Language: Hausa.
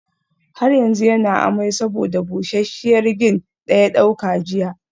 Har yanzu yana amai saboda busasshiyar gin daya dauka jiya